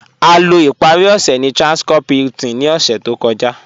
A lọ́ ìparí ọṣẹ̀ ní Transcorp Hilton ní ọ̀ṣẹ̀ tó kọ̀já.